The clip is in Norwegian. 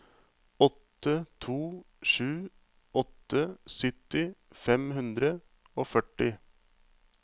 åtte to sju åtte sytti fem hundre og førti